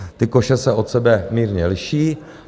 Ty koše se od sebe mírně liší.